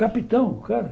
Capitão, o cara.